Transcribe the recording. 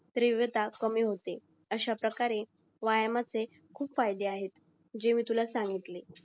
तीव्रता कमी होते अशा प्रकारे व्यायामाचे खूप फायदे आहेत जे मी तुला सांगितले